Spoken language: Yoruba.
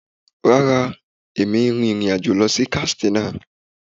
Rárá, èmi n rin ìrìn àjò lọ sí Katsina.